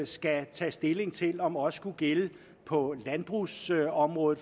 skal tage stilling til om også kunne gælde på landbrugsområdet